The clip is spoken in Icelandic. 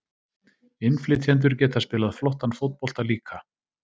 Innflytjendur geta spilað flottan fótbolta líka.